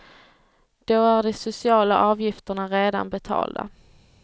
Då är de sociala avgifterna redan betalda.